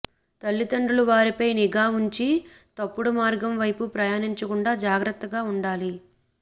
తల్లిదండ్రులు వారిపై నిఘా ఉంచి తప్పుడు మార్గం వైపు ప్రయాణించకుండా జాగ్రత్తగా ఉండాలి